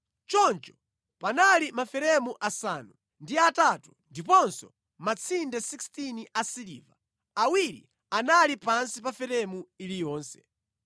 Choncho panali maferemu asanu ndi atatu ndiponso matsinde 16 asiliva, awiri anali pansi pa feremu iliyonse.